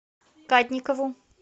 кадникову